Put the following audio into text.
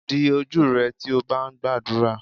Di ojú rẹ tí o bá ń gbàdúrà.